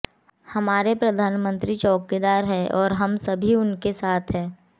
हमारे प्रधानमंत्री चौकीदार हैं और हम सभी उनके साथ है